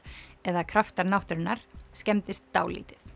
eða kraftar náttúrunnar skemmdist dálítið